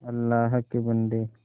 अल्लाह के बन्दे